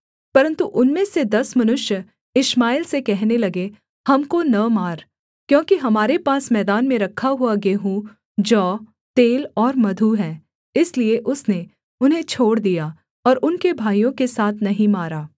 परन्तु उनमें से दस मनुष्य इश्माएल से कहने लगे हमको न मार क्योंकि हमारे पास मैदान में रखा हुआ गेहूँ जौ तेल और मधु है इसलिए उसने उन्हें छोड़ दिया और उनके भाइयों के साथ नहीं मारा